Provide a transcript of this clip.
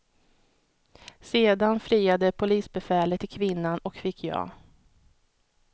Sedan friade polisbefälet till kvinnan och fick ja.